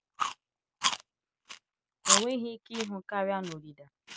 O nweghị ike ịhụ karịa na-odida